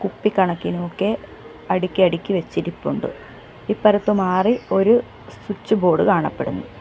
കുപ്പിക്കണക്കിനുമൊക്കെ അടുക്കി അടുക്കി വച്ചിരിപ്പുണ്ട് ഇപ്പറത്ത് മാറി ഒര് സ്വിച്ച് ബോർഡ് കാണപ്പെടുന്നു.